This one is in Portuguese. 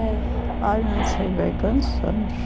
É. Ai, não sei bem quantos anos.